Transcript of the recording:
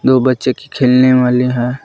वो बच्चे के खेलने वाले है।